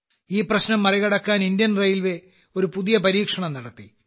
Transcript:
ഈ പ്രശ്നം മറികടക്കാൻ ഇന്ത്യൻ റെയിൽവേ ഒരു പുതിയ പരീക്ഷണം നടത്തി